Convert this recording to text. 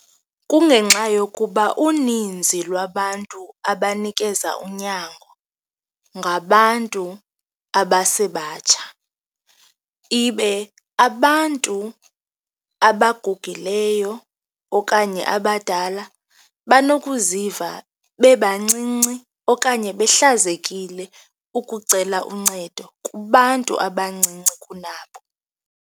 Kungenxa yokuba uninzi lwabantu abanikeza unyango, ngabantu abasebatsha ibe abantu abagugileyo okanye abadala banokuziva bebancinci okanye behlazekile ukucela uncedo kubantu abancinci kunabo.